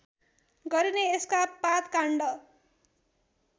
गरिने यसका पातकाण्ड